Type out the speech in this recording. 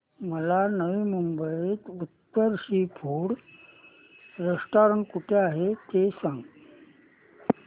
मला नवी मुंबईतलं उत्तम सी फूड रेस्टोरंट कुठे आहे ते सांग